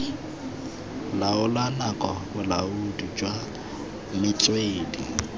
laola nako bolaodi jwa metswedi